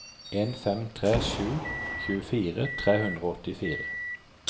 en fem tre sju tjuefire tre hundre og åttifire